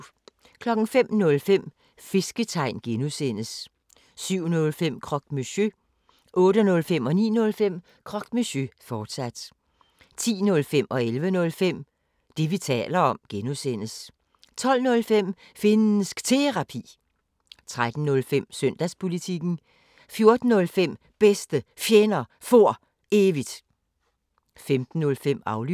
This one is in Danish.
05:05: Fisketegn (G) 07:05: Croque Monsieur 08:05: Croque Monsieur, fortsat 09:05: Croque Monsieur, fortsat 10:05: Det, vi taler om (G) 11:05: Det, vi taler om (G) 12:05: Finnsk Terapi 13:05: Søndagspolitikken 14:05: Bedste Fjender For Evigt 15:05: Aflyttet